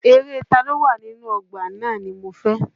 Eré Taló wà inú ọgbà náà ni mo fẹ́.